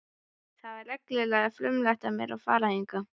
Það var reglulega frumlegt af mér að fara hingað.